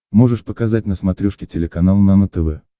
можешь показать на смотрешке телеканал нано тв